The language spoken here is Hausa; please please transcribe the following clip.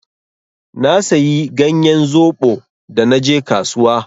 Na sayi ganyen zoɓo da naje kasuwa.